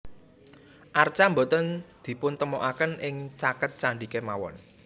Arca boten dipuntemokaken ing caket candhi kemawon